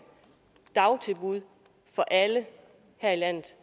dagtilbud for alle her i landet